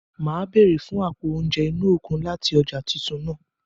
Màá béèrè fún àpo oúnjẹ inú okun láti ọjà titun náà.